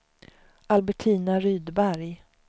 Albertina Rydberg